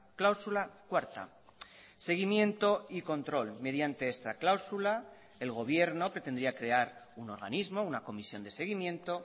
cláusula cuarta seguimiento y control mediante esta cláusula el gobierno pretendía crear un organismo una comisión de seguimiento